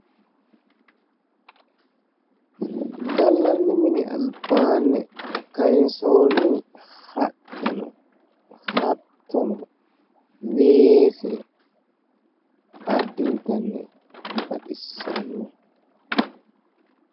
Gallanni mini albaanni kayinsoonni haqqe no hattono weese addintanni baxissanno.